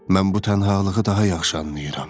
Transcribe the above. Mən bu tənhalığı daha yaxşı anlayıram.